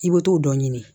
I bɛ t'o dɔ ɲini